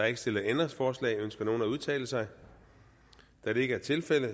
ikke stillet ændringsforslag ønsker nogen at udtale sig da det ikke er tilfældet